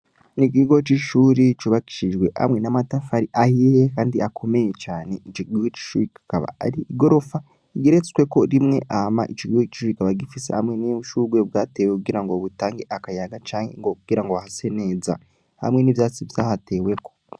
Ni ikigo c'ishuri cubakishijwe hamwe n'amatafari ahiye kandi akomeye cane, ico kigo c'ishure kikaba ari igorofa igeretsweko rimwe, hama ico kigo c'ishure kikaba gifise hamwe n'ushuburwe bwatewe kugira ngo butange akayaga canke ngo kugira ngo hase neza, hamwe n'ivyatsi vyahateweko.